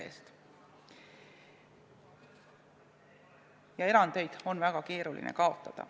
Ning erandeid on väga keeruline kaotada.